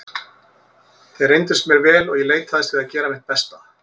Þeir reyndust mér vel og ég leitaðist við að gera mitt besta.